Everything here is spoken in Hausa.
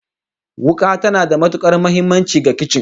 Wuka tana da matukar muhimmanci ga kicin